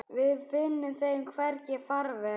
Við finnum þeim hvergi farveg.